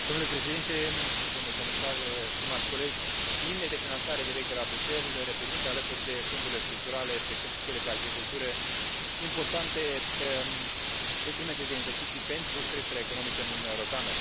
Domnule Președinte, domnule Comisar, stimați colegi, liniile de finanțare direct de la Bruxelles reprezintă, alături de fondurile structurale, precum și cele pe agricultură, importante instrumente de investiții pentru creșterea economică în Uniunea Europeană.